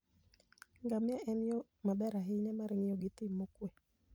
ngamia en yo maber ahinya mar ng'iyo thim mokuwe.